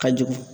Ka jugu